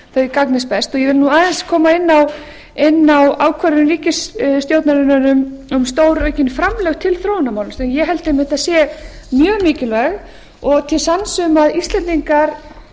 þau gagnist best ég vil aðeins koma inn á ákvörðun ríkisstjórnarinnar um stóraukin framlög til þróunarmála sem ég held einmitt að séu mjög mikilli og til sanns um að íslendingar